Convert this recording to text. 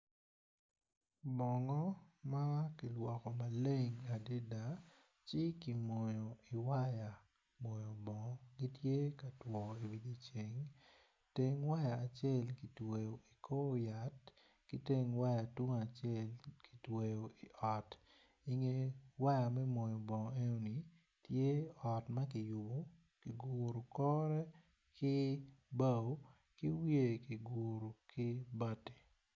Bongo ma kilwoko maleng adida ci ki moyo i waya moyo bongo gitye ka two iwi ceng teng waya acel ki tweyo i kor yat ki teng waya tung acel ki tweyo i ot inge waya me moyo bongo enoni tye ot ma kiyubu ki guru kore ki bao ki wiye kiguru ki bati